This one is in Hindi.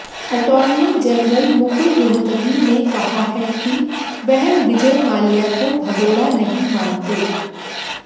अटॉर्नी जनरल मुकुल रोहतगी ने कहा है कि वह विजय माल्या को भगोड़ा नहीं मानते